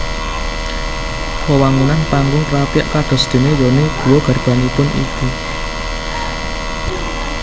Wewangunan Panggung Krapyak kadosdene yoni guwa garbanipun ibu